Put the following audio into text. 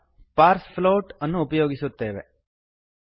parseFloat float dot parse float ಅನ್ನು ಉಪಯೋಗಿಸುತ್ತೇವೆ